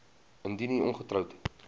indien u ongetroud